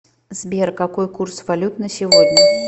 сбер какой курс валют на сегодня